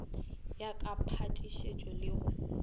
ya ka phatišišo le go